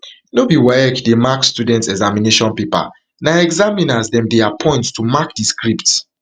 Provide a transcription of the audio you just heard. no be waec dey mark students examination paper na examiners dem dey appoint to mark di scripts.